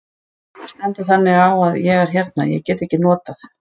Það stendur þannig á að ég hérna. ég get ekki notað.